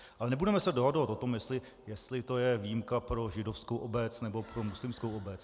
Ale nebudeme se dohadovat o tom, jestli to je výjimka pro židovskou obec, nebo pro muslimskou obec.